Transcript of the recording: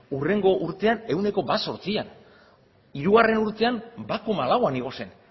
hurrengo urtean ehuneko bat koma zortzian hirugarren urtean ehuneko bat koma lauan igo zen